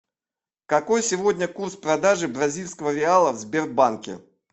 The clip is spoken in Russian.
какой сегодня курс продажи бразильского реала в сбербанке